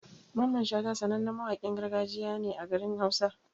Mamman Shata sanannen mawaƙin gargajiya ne a garin hausa.